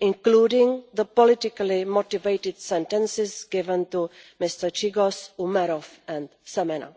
including the politically motivated sentences given to Mr Chiygoz, Mr Umerov and Mr Semena.